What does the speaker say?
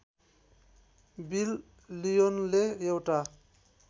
bill लिओनले एउटा